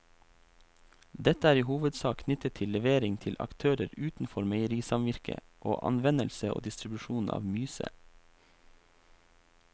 Dette er i hovedsak knyttet til levering til aktører utenfor meierisamvirket og anvendelse og distribusjon av myse.